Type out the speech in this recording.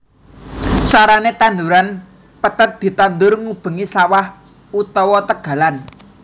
Carané tanduran pethèt ditandur ngubengi sawah utawa tegalan